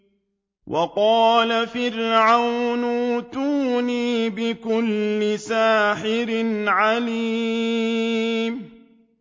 وَقَالَ فِرْعَوْنُ ائْتُونِي بِكُلِّ سَاحِرٍ عَلِيمٍ